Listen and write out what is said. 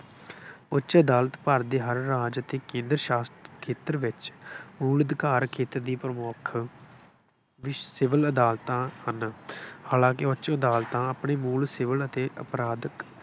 ਉੱਚ ਅਦਾਲਤ ਭਾਰਤ ਦੇ ਹਰ ਰਾਜ ਅਤੇ ਕੇਂਦਰ ਸ਼ਾਸ਼ਤ ਖੇਤਰ ਵਿੱਚ ਮੂਲ ਅਧਿਕਾਰ ਖੇਤਰ ਦੀ ਪ੍ਰਮੁੱਖ ਵੀ ਸਿਵਲ ਅਦਾਲਤਾਂ ਹਨ। ਹਾਲਾਂਕਿ ਉੱਚ ਅਦਾਲਤਾਂ ਆਪਣੀ ਮੂਲ ਸਿਵਲ ਅਤੇ ਅਪਰਾਧਕ